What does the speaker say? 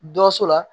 Dɔ so la